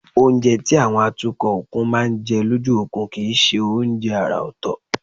Oúnjẹ táwọn atukọ̀ òkun máa ń jẹ lójú òkun kì í ṣe oúnjẹ àrà ọ̀tọ̀